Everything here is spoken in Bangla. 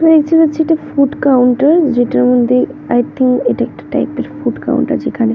আমি দেখতে পাচ্ছি একটা ফুড কাউন্টার । যেটার মধ্যে আই থিঙ্ক এটা একটা টাইপ -এর ফুড কাউন্টার যেখানে।